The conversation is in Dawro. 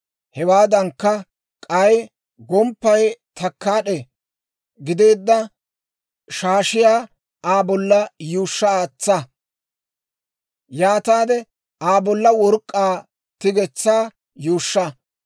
Hewaadankka, k'ay gomppay takkaad'e gideedda shaashiyaa Aa bolla yuushsha aatsa. Yaataade Aa bolla work'k'aa tigetsaa yuushsha.